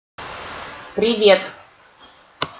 привет